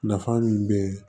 Nafa min be